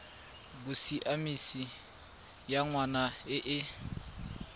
bosiamisi ya ngwana e e